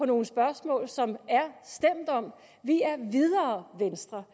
nogle spørgsmål som der er stemt om vi er videre venstre